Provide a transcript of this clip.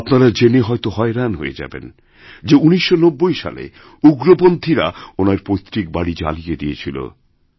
আপনার জেনে হয়রান হয়েযাবেন যে ১৯৯০ সালে উগ্রপন্থীরা ওনার পৈতৃক বাড়ি জ্বালিয়ে দিয়েছিল